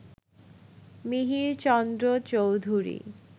Mihirchandra Chowdhury